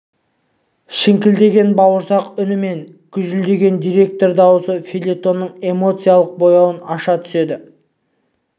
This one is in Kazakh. шіңкілдеген бауырсақ үні мен гүжілдеген директор даусы фельетонның эмоциялық бояуын аша түседі